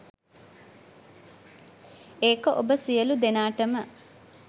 ඒක ඔබ සියලු දෙනාටම